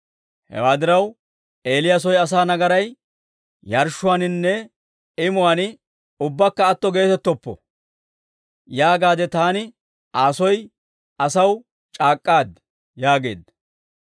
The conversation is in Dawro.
Hewaa diraw, ‹Eeliya soy asaa nagaray yarshshuwaaninne imuwaan ubbakka atto geetettoppo› yaagaadde taani Aa soy asaw c'aak'k'aad» yaageedda.